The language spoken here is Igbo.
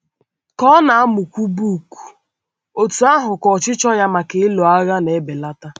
Ka ọ na - amụkwu book, otú ahụ ka ọchịchọ ya maka ịlụ agha na - ebelata.